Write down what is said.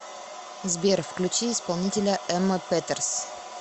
сбер включи исполнителя эмма петерс